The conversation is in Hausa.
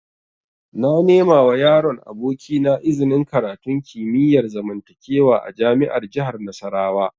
Na nemawa yaron abokina iznin karatun kimiyar zamantakewa a jami'ar jihar Nasarawa